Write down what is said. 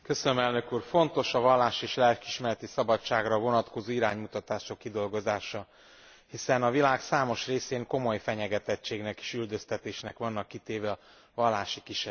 Fontos a vallás és lelkiismereti szabadságra vonatkozó iránymutatások kidolgozása, hiszen a világ számos részén komoly fenyegetettségnek és üldöztetésnek vannak kitéve a vallási kisebbségek.